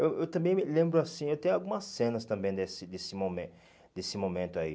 Eu eu também me lembro assim, eu tenho algumas cenas também desse desse momen desse momento aí.